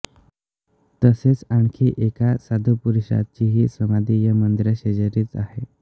तसेच आणखी एका साधुपुरुषाचीही समाधी या मंदिराशेजारीच आह़े